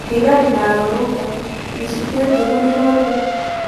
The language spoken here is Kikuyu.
Thigari na arũrũgani: Mĩcinga Ĩngĩhũthĩrũo rĩ?